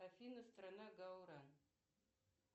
афина страна гаура